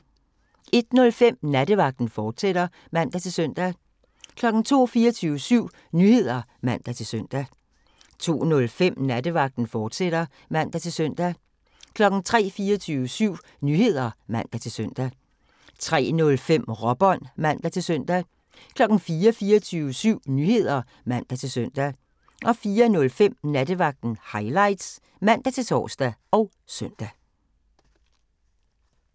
01:05: Nattevagten, fortsat (man-søn) 02:00: 24syv Nyheder (man-søn) 02:05: Nattevagten, fortsat (man-søn) 03:00: 24syv Nyheder (man-søn) 03:05: Råbånd (man-søn) 04:00: 24syv Nyheder (man-søn) 04:05: Nattevagten Highlights (man-tor og søn)